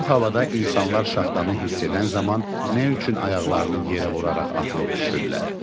Soyuq havada insanlar şaxtanı hiss edən zaman nə üçün ayaqlarını yerə vuraraq atılıb düşürlər?